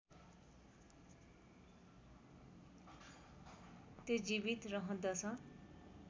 त्यो जीवित रहँदछ